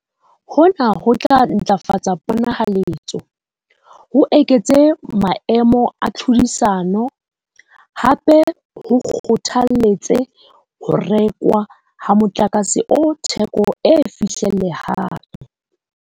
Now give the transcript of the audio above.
Hona ho tla ntlafatsa ponahaletso, ho eketse maemo a tlhodisano. Hape ho kgothalletse ho rekwa ha motlakase o theko e fihlellehang.